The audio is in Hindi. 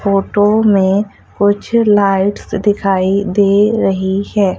फोटो में कुछ लाइट्स दिखाई दे रही है।